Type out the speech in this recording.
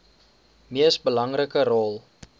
mees belangrike rol